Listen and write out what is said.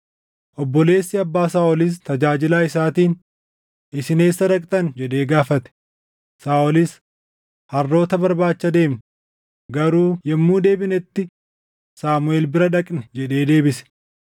Obboleessi abbaa Saaʼolis tajaajilaa isaatiin, “Isin eessa dhaqxan?” jedhee gaafate. Saaʼolis, “Harroota barbaacha deemne; garuu yommuu deebinetti Saamuʼeel bira dhaqne” jedhee deebise.